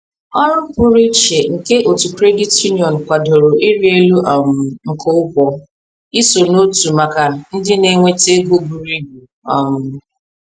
Ọrụ pụrụ iche nke otu credit union kwadoro ịrị elu um nke ụgwọ iso n’otu maka ndị na-enweta ego buru ibu. um